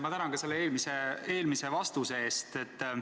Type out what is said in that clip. Ma tänan ka vastuse eest oma eelmisele küsimusele!